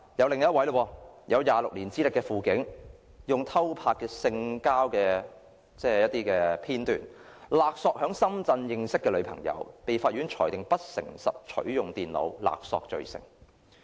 另一位有26年資歷的輔警，用偷拍的性交片段勒索在深圳認識的女朋友，被法院裁定不誠實取用電腦，勒索罪成。